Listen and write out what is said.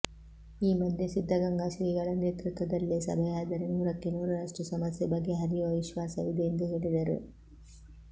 ಈ ಮಧ್ಯೆ ಸಿದ್ದಗಂಗಾ ಶ್ರೀಗಳ ನೇತೃತ್ವದಲ್ಲೇ ಸಭೆಯಾದರೆ ನೂರಕ್ಕೆ ನೂರರಷ್ಟು ಸಮಸ್ಯೆ ಬಗೆಹರಿಯುವ ವಿಶ್ವಾಸವಿದೆ ಎಂದು ಹೇಳಿದರು